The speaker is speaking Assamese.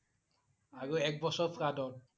আৰু এক বছৰ flood ত